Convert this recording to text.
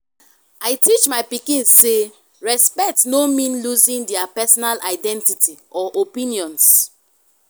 i teach my pikin say respect no mean losing their personal identity or opinions.